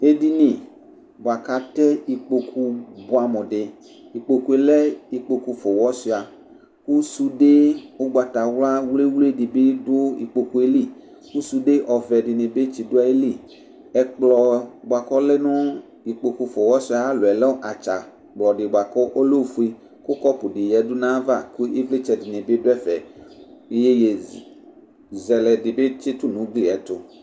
Edini bʋakʋ atɛ ikpokʋ bʋɛamʋ di ikpokʋe lɛ ikpokʋ fʋa ʋwʋsuia kʋ sude ʋgbatawla wli wli dibi dʋ ikpokʋ yɛ li kʋ sude ɔvɛ dini bi tsidʋ ayili ɛkplɔ bʋakʋ ɔlɛ nʋ ikpɔkʋ fʋa ʋwɔsuiaba ayʋ alɔ lɛ atsakplɔ di kʋ ɔlɛ ofʋe kʋ kɔpʋ di yadʋ ayava kʋ ivlitsɛ dini bi dʋ ɛfɛ iyeye zɛlɛ dibi tsitʋ nʋ ʋgli yɛtʋ